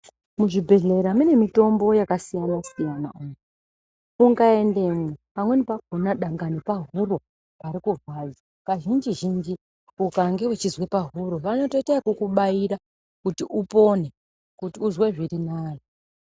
Muzvibhedhlera mune mitombo yakasiyana-siyana umu ukaendamwo pangani pakona dai pahuro pari kurwadza kazhinji zhinji ukange weinzwa pahuro vanoita yekubaira kuti upone kuti uzwe zviri nane.